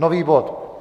Nový bod.